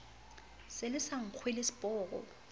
se le sa nkge leseporo